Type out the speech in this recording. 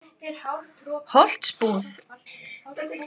Holtsbúð